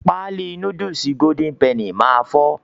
Páálí núdùùsì "Golden Penny" máa fọ́